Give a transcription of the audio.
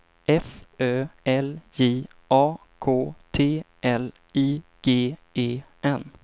F Ö L J A K T L I G E N